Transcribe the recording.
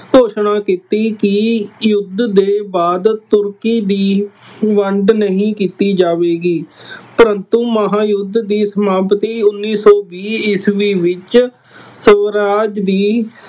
ਘੋਸ਼ਣਾ ਕੀਤੀ ਕਿ ਯੁੱਧ ਦੇ ਬਾਅਦ ਤੁਰਕੀ ਦੀ ਵੰਡ ਨਹੀਂ ਕੀਤੀ ਜਾਵੇਗੀ। ਪਰੰਤੂ ਮਹਾਂਯੁੱਧ ਦੀ ਸਮਾਪਤੀ ਉੱਨੀ ਸੌ ਵੀਹ ਈਸਵੀ ਵਿੱਚ ਸਵਰਾਜ ਦੀ